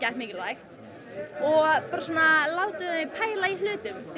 mikilvægt og svona látum þau pæla í hlutum því